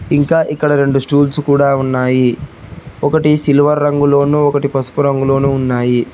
ఇంకా ఇక్కడ రెండు స్టూల్స్ కూడా ఉన్నాయి ఒకటి సిల్వర్ రంగులోను ఒకటి పసుపు రంగులోను ఉన్నాయి.